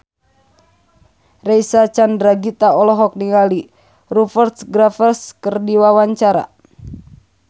Reysa Chandragitta olohok ningali Rupert Graves keur diwawancara